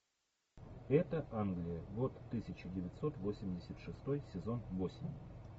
это англия год тысяча девятьсот восемьдесят шестой сезон восемь